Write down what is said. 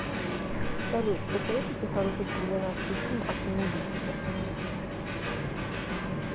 салют посоветуйте хороший скандинавский фильм о самоубийстве